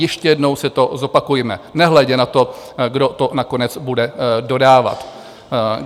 Ještě jednou si to zopakujme, nehledě na to, kdo to nakonec bude dodávat.